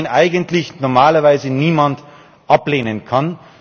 Ein Vorschlag, den eigentlich normalerweise niemand ablehnen kann.